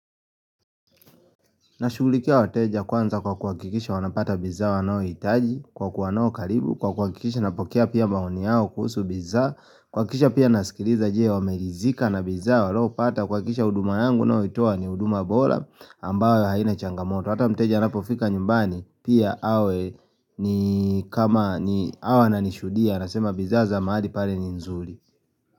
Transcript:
Nashughulikia wateja kwanza kwa kuhakikisha wanapata bidhaa wanayohitaji, kwa kuwa nao karibu, kwa kuhakikisha napokea pia maoni yao kuhusu bidhaa, kuhakikisha pia nasikiliza je, wameridhika na bidhaa waliyopata kuhakikisha huduma yangu ninayoitoa ni huduma bora, ambayo haina changamoto hata mteja anapofika nyumbani pia awe ni kama ni awe ananishuhudia anasema bidhaa za mahali pale ni nzuri.